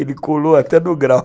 Ele colou até no grau.